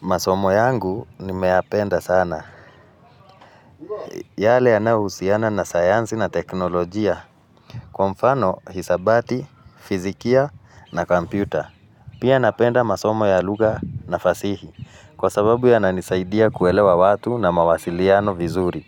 Masomo yangu nimeyapenda sana. Yale yanayohusiana na sayansi na teknolojia. Kwa mfano, hisabati, fizikia na kompyuta. Pia napenda masomo ya lugha na fasihi. Kwa sababu yananisaidia kuelewa watu na mawasiliano vizuri.